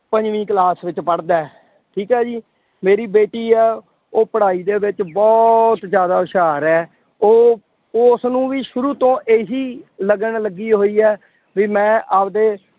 ਪੰਜਵੀਂ class ਦੇ ਵਿੱਚ ਪੜ੍ਹਦਾ ਹੈ। ਠੀਕ ਆ ਜੀ, ਮੇਰੀ ਬੇਟੀ ਹੈ ਉਹ ਪੜਾਈ ਦੇ ਬਹੁਤ ਜ਼ਿਆਦਾ ਹੁਸ਼ਿਆਰ ਹੈ। ਉਹ ਉਸਨੂੰ ਵੀ ਸ਼ੁਰੂ ਤੋਂ ਇਹੀ ਲਗਨ ਲੱਗੀ ਹੋਈ ਹੈ ਬਈ ਮੈਂ ਆਪਦੇ